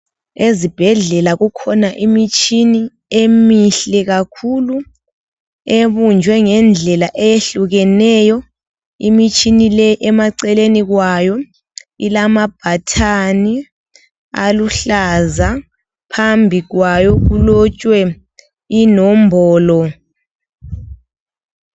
Ezibhedlela kukhona imitshina emihle kakhulu ebunjwe ngendlela ezehlukeneyo. Imitshina leyi emaceleni kwayo ilama button aluhlaza. Phambi kwayo kulotshwe inombolo.